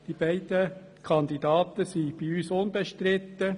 Die beiden Kandidaten sind bei uns unbestritten.